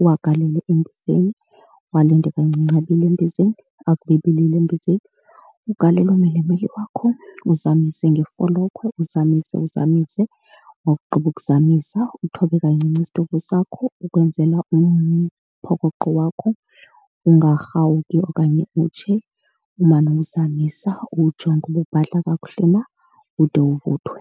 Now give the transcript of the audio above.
uwagalele embizeni uwalinde kancinci, abile embizeni. Akube ebilile embizeni ugalele umilimili wakho uzamise ngefolokhwe, uzamise uzamise. Wakugqiba ukuzamisa uthobe kancinci isitovu sakho ukwenzela umphokoqo wakho ungarhawuki okanye utshe. Umane uwuzamisa uwujonge uba ubhadla kakuhle na ude uvuthwe.